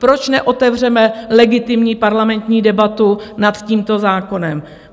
Proč neotevřeme legitimní parlamentní debatu nad tímto zákonem?